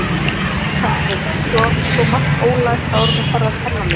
Nei, kall minn, þú átt sko margt ólært áðuren þú ferð að kenn mér.